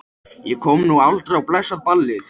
Ég komst nú aldrei á blessað ballið.